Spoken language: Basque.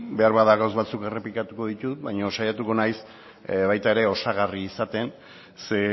beharbada gauza batzuk errepikatuko ditut baina saiatuko naiz baita ere osagarri izaten ze